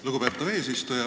Lugupeetav eesistuja!